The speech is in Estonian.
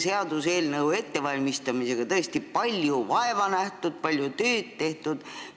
Seaduseelnõu ettevalmistamisega on tõesti palju vaeva nähtud, sellega on palju tööd tehtud.